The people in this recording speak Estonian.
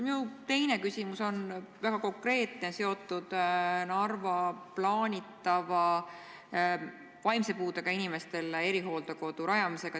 Minu teine küsimus on väga konkreetne, seotud Narva plaanitava vaimse puudega inimestele erihooldekodu rajamisega.